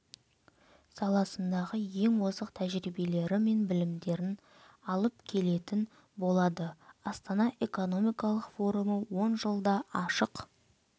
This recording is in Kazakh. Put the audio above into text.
саласындағы ең озық тәжірибелері мен білімдерін алып келетін болады астана экономикалық форумы он жылда ашық